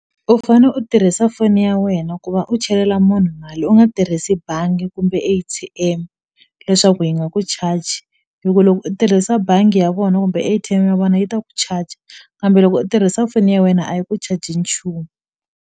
U fane u tirhisa foni ya wena ku va u chelela munhu mali u nga tirhisi bangi kumbe A_T_M leswaku yi nga ku charge hi ku loko u tirhisa bangi ya vona kumbe A_T_M ya vona yi ta ku charger kambe loko i tirhisa foni ya wena a yi ku charge nchumu.